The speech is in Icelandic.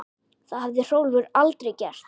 Það hefði Hrólfur aldrei gert.